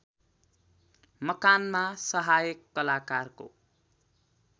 मकानमा सहायक कलाकारको